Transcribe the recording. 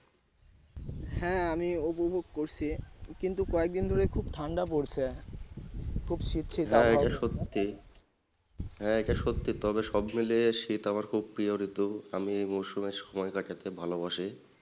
হ্যাঁ এটা সত্যি তবে সব মিলিয়ে শীত আমার খুব প্রিয় ঋতু আমি মরসুমের সময় কাটাতে ভালো বাসি।